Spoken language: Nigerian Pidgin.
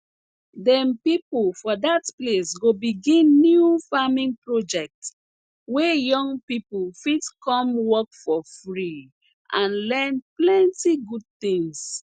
dem pipo for dat place go begin new farming project wey young pipo fit come work for free and learn plenty good tins